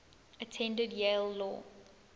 attended yale law